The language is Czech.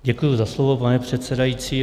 Děkuji za slovo, pane předsedající.